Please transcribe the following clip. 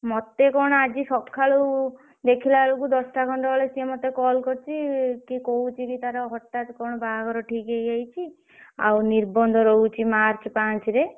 ମତେ କଣ ଆଜି ସଖାଳୁ ଦେଖିଲା ବେଳକୁ ଦଶଟା ଖଣ୍ଡେ ବେଳେ ସିଏ ମତେ call କରିଛି। ସିଏ କହୁଛିକି ତାର ହଠାତ କଣ ବାହାଘର ଠିକ ହେଇଯାଇଛି। ଆଉ ନିର୍ବନ୍ଧ ରହୁଛି march ପାଞ୍ଚରେ।